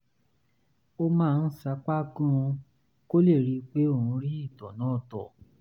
ó máa ń sapá gan-an kó lè rí i pé òun rí ìtọ̀ náà tọ̀